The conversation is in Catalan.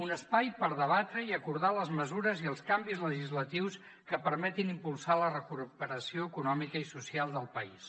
un espai per debatre i acordar les mesures i els canvis legislatius que permetin impulsar la recuperació econòmica i social del país